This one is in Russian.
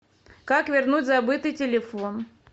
как вернуть забытый телефон